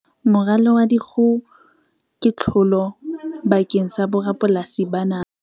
Moralo wa dikgoho ke tlholo bakeng sa borapolasi ba naha